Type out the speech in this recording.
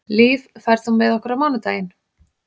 Líf, ferð þú með okkur á mánudaginn?